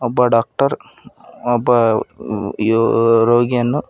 ಒಬ್ಬ ಡಾಕ್ಟರ್ ಒಬ್ಬ ಯೋ ರೋಗಿಯನ್ನು.